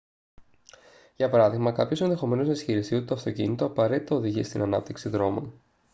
για παράδειγμα κάποιος ενδεχομένως να ισχυριστεί ότι το αυτοκίνητο απαραίτητα οδηγεί στην ανάπτυξη δρόμων